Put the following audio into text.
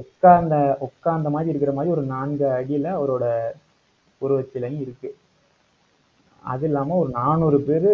உட்கார்ந்த உட்கார்ந்த மாதிரி இருக்கிற மாதிரி, ஒரு நான்கு அடியில, அவரோட உருவச்சிலையும் இருக்கு. அது இல்லாம, ஒரு நானூறு பேரு,